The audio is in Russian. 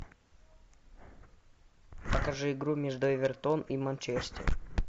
покажи игру между эвертон и манчестер